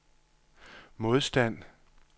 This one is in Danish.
modstand